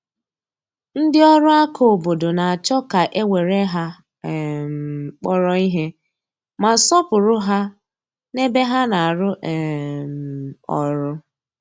Ndị ọrụ aka obodo na-achọ ka e were ha um kpọrọ ihe, ma sọọpụrụ ha n’ebe ha na-arụ um ọrụ.